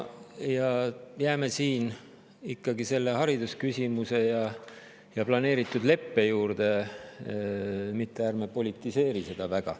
Jäägem siin ikka haridusküsimuste ja planeeritud leppe juurde ning ärgem seda väga politiseerigem!